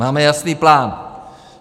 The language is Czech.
Máme jasný plán.